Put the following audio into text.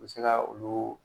U bɛ se ka olu